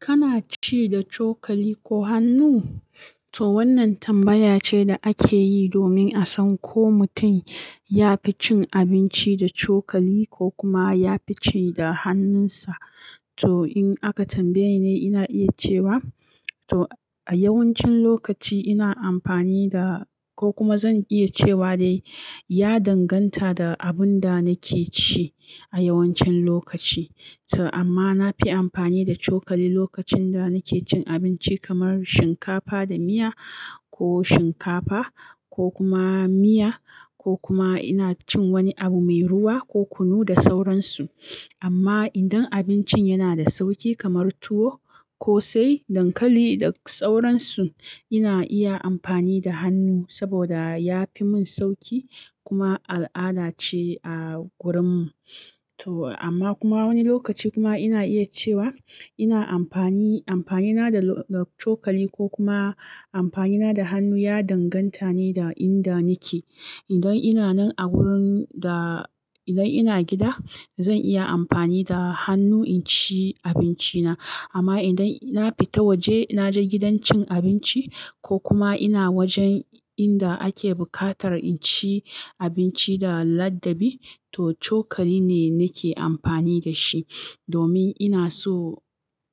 Kana ci da cokali ko hannu? To wannan tambaya ce da ake yi domin a san ko mutum ya fi cin abinci da cokali ko kuma ya fi ci da hannunsa. To in aka tambaye nine, ina iya cewa to a yawancin lokaci ina amfani da ko kuma zan iya cewa dai ya danganta da abin da nake ci a yawancin lokaci. To amma na fi amfani da cokali lokacin da nake cin abinci kamar shinkafa da miya ko shinkafa ko kuma miya ko kuma ina cin wani abu mai ruwa ko kunu da sauransu. Amma idan abincin yana da sauƙi kamar tuwo ko sai dankali da sauransu, ina iya amfani da hannu saboda ya fi mun sauƙi kuma al'ada ce a wurin mu. To amma kuma wani lokaci kuma ina iya cewa ina amfani, amfani na da, da cokali ko kuma amfani na da hannu ya danganta ne da inda nake. Idan ina nan a wurin da, idan ina gida zan iya amfani da hannu in ci abinci na. Amma idan na fita waje na je gidan cin abinci ko kuma ina wajen inda ake bukatar in ci abinci da ladabi, to cokali ne nake amfani da shi domin ina so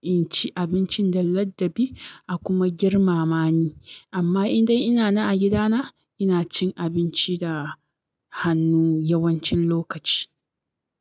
in ci abincin da ladabi a kuma girmama ni. Amma indai ina nan a gidana, ina cin abinci da hannu yawancin lokaci.